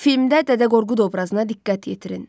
Filmdə Dədə Qorqud obrazına diqqət yetirin.